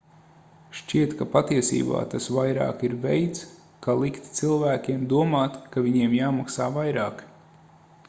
šķiet ka patiesībā tas vairāk ir veids ka likt cilvēkiem domāt ka viņiem jāmaksā vairāk